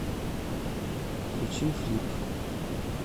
включи флип